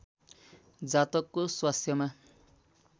जातकको स्वास्थ्यमा